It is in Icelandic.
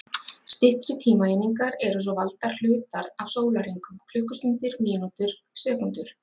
Styttri tímaeiningar eru svo valdir hlutar af sólarhringum: klukkustundir, mínútur, sekúndur.